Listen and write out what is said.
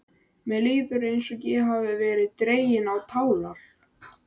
Mér líður eins og ég hafi verið dregin á tálar.